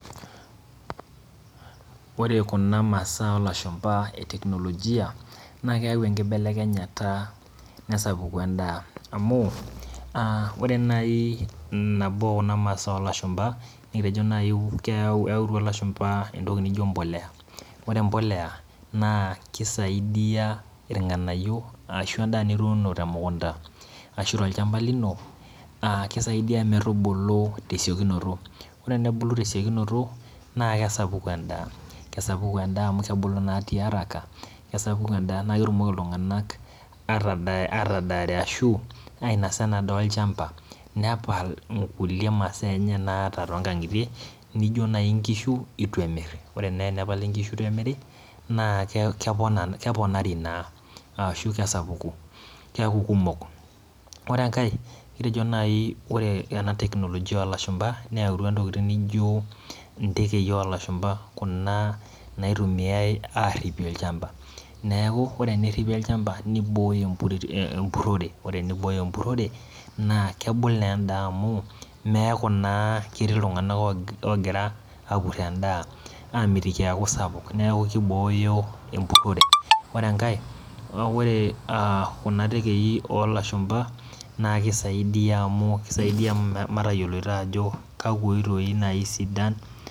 Ore kuna masaa olashumba e technologia na keyau enkibelekenyata nesapuku endaa amu aa ore nai nabo okuna masaa olashumba nikitejo nai keyautua lashumbaentoki naijo mbolea, ore mbolea na kisaidia irnganayio ashu endaa nituuno te mukunda ashu olchamba lino aa kisaidia metubulu tesiokinoto ore tenebulu tesiokinoto na kesapuku endaa, kesapuk endaa amu kebulu tiaraka naketumoki ltunganak atadaare ashu ainasa enadaa olchampa nepal nkulie masaa nai naata tonkangitie nijo nai nkishu ituemir, na ore nai enapali nkishu ituemiri na keponari na ashu kesapuki, keaku kumok. Ore enkae kitejo nai ore ena technologia olashumba neyautua ntokitin naijo ntekei olashumba kuna naitumiai aripie olchamba neaku ore eneripi olchamba nibooyo empurore na kebul naa endaa amu meaku na ketii ltunganak ogira apur endaa amitiki eaku sapuk neaku kibooyo empurore, ore enkae a kuna tekei olashumba na kisaidia amu metayioloto ajo kakwa oitoi nai isidan.